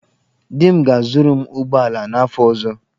Di m ga-azụrụ m ụgbọala n'afọ ọzọ.